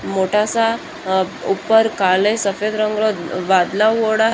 मोटा सा ऊपर काला सफेद रंग रा बादल होयेडा है।